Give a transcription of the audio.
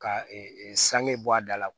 Ka sange bɔ a da la